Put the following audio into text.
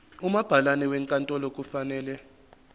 umabhalane wenkantolo kufanele